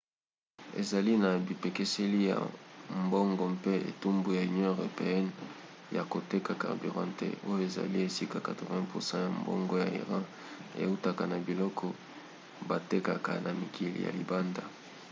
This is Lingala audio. ezali na bipekiseli ya mbongo mpe etumbu ya union europeenne ya koteka carburant te oyo ezali esika 80% ya mbongo ya iran eutaka na biloko batekaka na mikili ya libanda